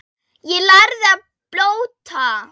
Ég lærði að blóta.